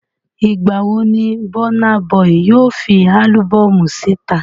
Ìgbàwo ni Burna Boy yóò fi álúbọ́ọ̀mù síta?